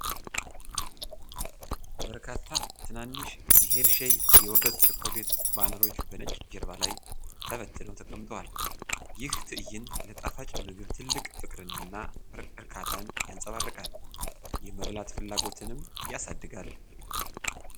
በርካታ ትናንሽ የሄርሼይ የወተት ቸኮሌት ባሮች በነጭ ጀርባ ላይ ተበትነው ተቀምጠዋል። ይህ ትእይንት ለጣፋጭ ምግብ ትልቅ ፍቅርን እና እርካታን ያንፀባርቃል፤ የመብላት ፍላጎትንም ያሳድጋል።